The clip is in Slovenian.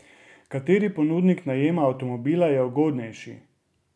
Kateri ponudnik najema avtomobila je ugodnejši?